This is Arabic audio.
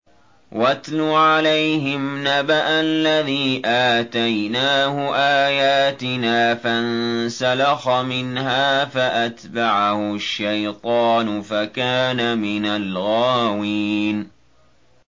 وَاتْلُ عَلَيْهِمْ نَبَأَ الَّذِي آتَيْنَاهُ آيَاتِنَا فَانسَلَخَ مِنْهَا فَأَتْبَعَهُ الشَّيْطَانُ فَكَانَ مِنَ الْغَاوِينَ